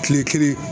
Kile kelen